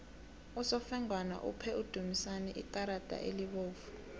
usofengwana uphe udumisani ikarada elibovu